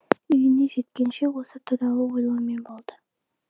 үйіне жеткенше осы туралы ойлаумен болды